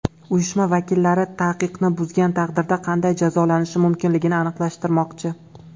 Uyushma vakillari taqiqni buzgan taqdirda qanday jazolanishi mumkinligini aniqlashtirmoqchi.